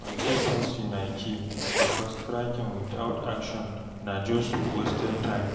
Consis ten cy na key, because tracking without action na just wasted time